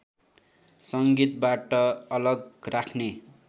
संगीतबाट अलग राख्ने